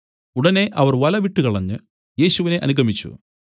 ഉടനെ അവർ വല വിട്ടുകളഞ്ഞ് യേശുവിനെ അനുഗമിച്ചു